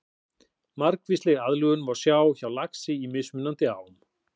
Margvíslega aðlögun má sjá hjá laxi í mismunandi ám.